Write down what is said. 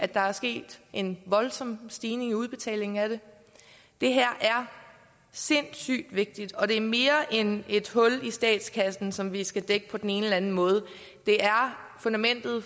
der er sket en voldsom stigning i udbetalingen af den det her er sindssygt vigtigt og det er mere end et hul i statskassen som vi skal dække på den ene eller anden måde det er fundamentet